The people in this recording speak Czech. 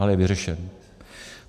Ale je vyřešen.